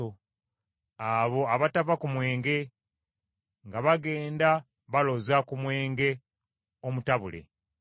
Abo abatava ku mwenge, nga bagenda baloza ku mwenge omutabule.